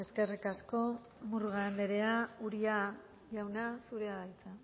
eskerrik asko murga andrea uria jauna zurea da hitza